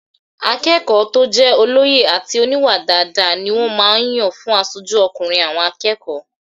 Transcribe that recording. Akẹ́kọ̀ọ́ tó jẹ́ olóye àti oníwà dáadáa ni wọ́n máa n yàn fún asojú ọkùnrin àwọn akẹ́kọ̀ọ́